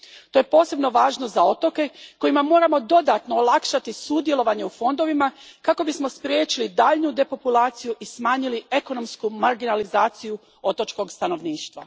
To je posebno važno za otoke kojima moramo dodatno olakšati sudjelovanje u fondovima kako bismo spriječili daljnju depopulaciju i smanjili ekonomsku marginalizaciju otočkog stanovništva.